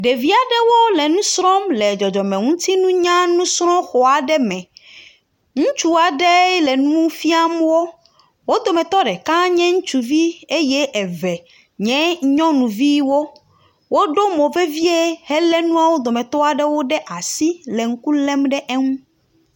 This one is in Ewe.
Ɖeviaɖewo le ŋusrɔm le dzɔdzɔme nutsiŋunya srɔ xɔaɖe me ŋutsua ɖe le ŋufiam wó, wó dometɔ ɖeka nye ŋutsuvi eye eve nye nyɔŋuviwo, woɖo mo vevie hele nuawo dometɔaɖewo ɖe asi le nukulem ɖe wó nu